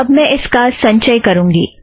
अब मैं इसका संचय करूँगी